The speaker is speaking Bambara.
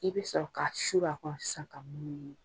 I bɛ sɔrɔ ka suru kan sisan ka munumunu